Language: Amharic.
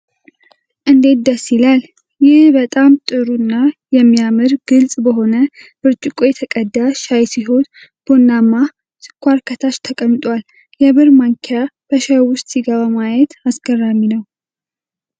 እንዴት ደስ ይላል! ይህ በጣም ጥሩ እና የሚያምር፣ ግልጽ በሆነ ብርጭቆ የተቀዳ ሻይ ሲሆን፣ ቡናማ ስኳር ከታች ተቀምጧል። የብር ማንኪያ በሻዩ ውስጥ ሲገባ ማየት አስገራሚ ነው!